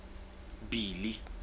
billy